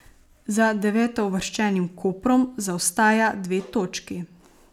Za devetouvrščenim Koprom zaostaja dve točki.